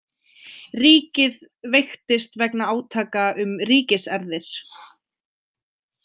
Ríkið veiktist vegna átaka um ríkiserfðir.